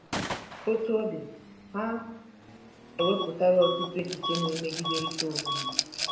Otú ọ dị, ha ewepụtala ọtụtụ echiche na-emegiderịta onwe ha.